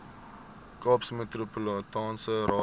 kaapse metropolitaanse raad